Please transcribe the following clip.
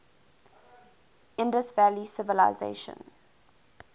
indus valley civilization